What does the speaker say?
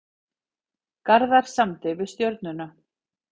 Garðar samdi við Stjörnuna